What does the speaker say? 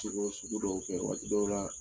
Juguya sugu dow kɛ waati dɔw la